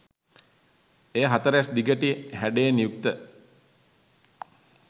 එය හතරැස් දිගටි හැඩයෙන් යුක්ත